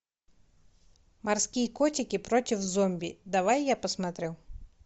морские котики против зомби давай я посмотрю